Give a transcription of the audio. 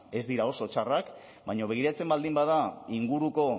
ez dira oso txarrak baina begiratzen baldin bada inguruko